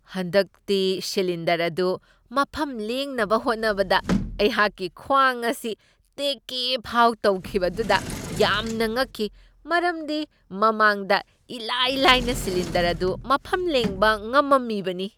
ꯍꯟꯗꯛꯇꯤ ꯁꯤꯂꯤꯟꯗꯔ ꯑꯗꯨ ꯃꯐꯝ ꯂꯦꯡꯅꯕ ꯍꯣꯠꯅꯕꯗ ꯑꯩꯍꯥꯛꯀꯤ ꯈ꯭ꯋꯥꯡ ꯑꯁꯤ ꯇꯦꯛꯀꯦ ꯐꯥꯎꯕ ꯇꯧꯈꯤꯕꯗꯨꯗ ꯌꯥꯝꯅ ꯉꯛꯈꯤ, ꯃꯔꯝꯗꯤ ꯃꯃꯥꯡꯗ ꯏꯂꯥꯏ ꯂꯥꯏꯅ ꯁꯤꯂꯤꯟꯗꯔ ꯑꯗꯨ ꯃꯐꯝ ꯂꯦꯡꯕ ꯉꯝꯃꯝꯃꯤꯕꯅꯤ꯫